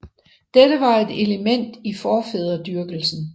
Dette var et element i forfædredyrkelsen